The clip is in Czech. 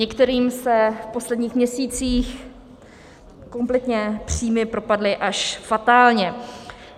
Některým se v posledních měsících kompletně příjmy propadly až fatálně.